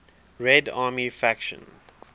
red army faction